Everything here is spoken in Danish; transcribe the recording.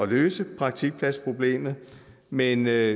løse praktikpladsproblemet men jeg